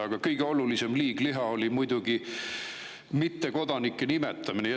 Aga kõige olulisem liigliha on muidugi mittekodanike nimetamine.